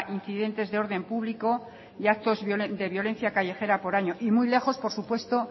incidentes de orden público y actos de violencia callejera por año y muy lejos por supuesto